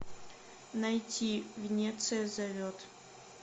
найти венеция зовет